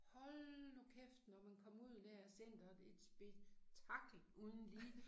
Hold nu kæft når man kommer ud dér af centeret et spektakel uden lige